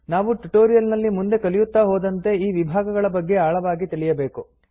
ನಾವು ಟ್ಯುಟೋರಿಯಲ್ ನಲ್ಲಿ ಮುಂದೆ ಕಲಿಯುತ್ತಾ ಹೋದಂತೆ ಈ ವಿಭಾಗಗಳ ಬಗ್ಗೆ ಆಳವಾಗಿ ತಿಳಿಯಬೇಕು